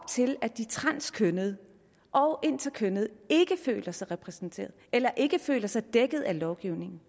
til at de transkønnede og interkønnede ikke føler sig repræsenteret eller ikke føler sig dækket af lovgivningen